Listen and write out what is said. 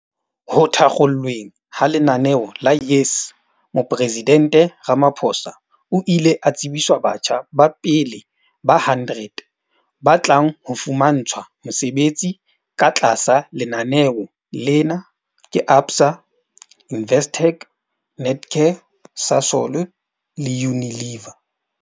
Ho thakgolweng ha lenaneo la YES Moporesidente Ramaphosa o ile a tsebiswa batjha ba pele ba 100 ba tlang ho fumantshwa mesebetsi ka tlasa lenaneo lena ke ABSA, Investec, Netcare, Sasol le Unilever.